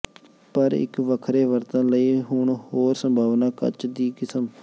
ਪਰ ਇੱਕ ਵੱਖਰੇ ਵਰਤਣ ਲਈ ਹੁਣ ਹੋਰ ਸੰਭਾਵਨਾ ਕੱਚ ਦੀ ਕਿਸਮ